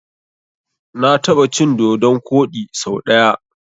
Na taɓa cin dodon koɗi so ɗaya.